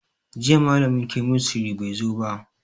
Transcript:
Jiya malamin kemistry bai zo ba